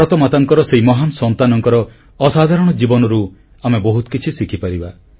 ଭାରତମାତାଙ୍କର ସେହି ମହାନ୍ ସନ୍ତାନଙ୍କର ଅସାଧାରଣ ଜୀବନରୁ ଆମେ ବହୁତ କିଛି ଶିଖିପାରିବା